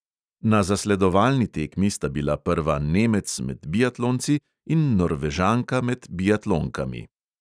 Na zasledovalni tekmi sta bila prva nemec med biatlonci in norvežanka med biatlonkami.